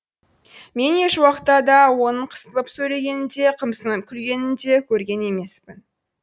мен ешуақта да оның қысылып сөйлегенін де қымсынып күлгенін де көрген емеспін